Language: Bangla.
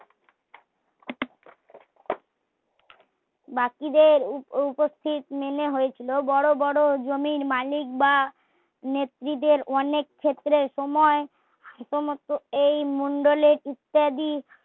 বাকিদের উপস্থিত মেনে হয়েছিল বড় বড় জমির মালিক বা নেত্রীদের অনেক ক্ষেত্রে সময় শুধুমাত্র এই মন্ডলে ইত্যাদি